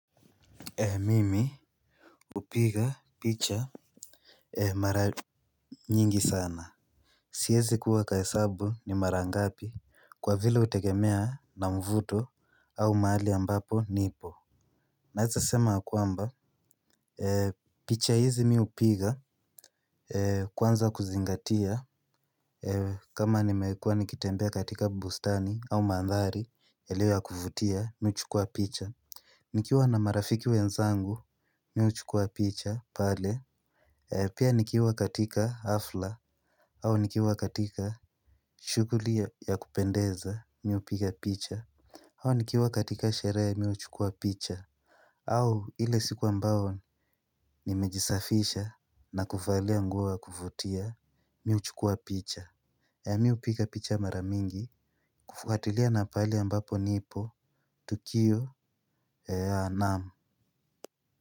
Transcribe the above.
Mimi hupiga picha mara nyingi sana. Siwezi kuhesabu ni mara ngapi, kwa vile hutegemea na mvuto au mahali ambapo nipo naweza sema yakwamba picha hizi mi hupiga kwanza kuzingatia kama nimekuwa nikitembea katika bustani au mandhari yaliyo ya kuvutia mimi huchukua picha. Nikiwa na marafiki wenzangu mimi huchukua picha pale. Pia nikiwa katika hafla au nikiwa katika shughuli ya kupendeza mimi hupiga picha au nikiwa katika sherehe ya mimi huchukua picha au ile siku ambayo nimejisafisha na kuvalia nguo ya kuvutia mimi huchukua picha. Mimi hupiga picha mara mingi kufuatilia na pahali ambapo nipo, tukio. Naaam.